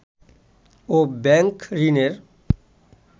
ও bank ঋণের